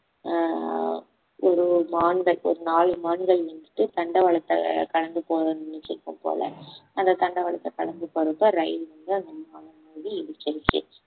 ஆஹ் ஒரு மான்கள் நாலு மான்கள் நின்னுட்டு தண்டவாளத்தை கடந்து போக நின்னுட்டு இருக்கும் போல அந்த தண்டவாளத்தை கடந்து போறப்ப ரயில் வந்து அந்த நாலு மான இடிச்சிருச்சி